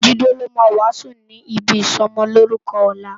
Jide ló má wásùn ni ibi isòmòlórùkò òlá